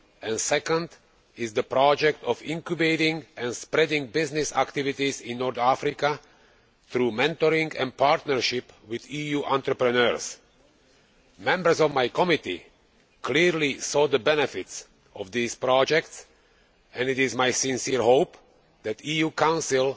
The second intends to incubate and spread business activities in North Africa through mentoring and partnerships with EU entrepreneurs. The members of my committee clearly saw the benefits of these projects and it is my sincere hope that the EU Council